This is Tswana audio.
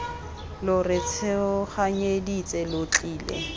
lo re tshoganyeditse lo tlile